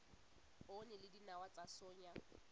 poone le dinawa tsa soya